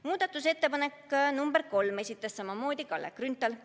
Muudatusettepaneku nr 5 esitas samamoodi Kalle Grünthal.